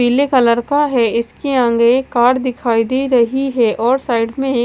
पिले कलर का है इसके आगे एक कार दिखाई दे रही है और साइड में एक--